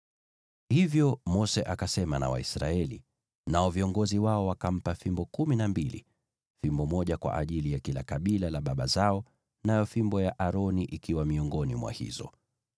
Hivyo Mose akasema na Waisraeli, nao viongozi wao wakampa fimbo kumi na mbili, fimbo moja kwa ajili ya kila kabila la baba zao, nayo fimbo ya Aroni ikiwa miongoni mwa hizo.